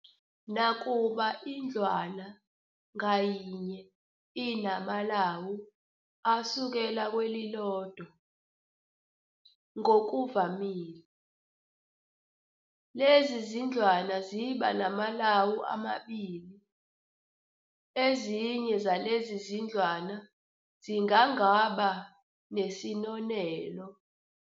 Nakuba indlwana ngayinye inamalawu asukela kwelilodwa - ngokuvamile, lezi izindlwana ziba namalawu amabili - ezinye zalezi izindlwana zingangaba nesinonelo.